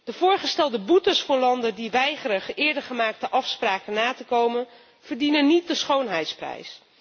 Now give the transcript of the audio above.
De voorgestelde boetes voor landen die weigeren eerder gemaakte afspraken na te komen, verdienen niet de schoonheidsprijs.